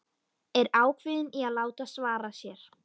Er ákveðin í að láta svara sér.